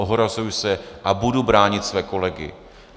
Ohrazuji se a budu bránit své kolegy.